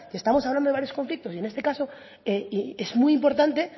estamos hablando de varios conflictos y en este caso es muy importante